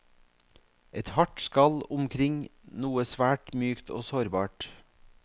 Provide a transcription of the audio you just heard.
Et hardt skall omkring noe svært mykt og sårbart.